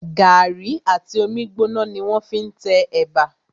Gàrí àti omi gbóná ni wọ́n fí n te ẹ̀bà